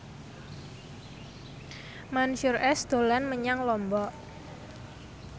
Mansyur S dolan menyang Lombok